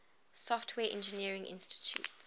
software engineering institute